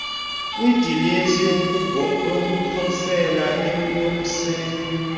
kudilesi yokuposela yomenzi